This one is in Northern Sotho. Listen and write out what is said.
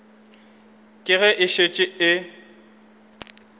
ke ge e šetše e